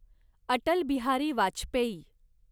Atal Bihari Vajpayee